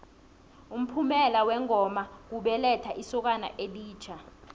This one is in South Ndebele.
umphumela wengoma kubelethwa kwesokana elitjha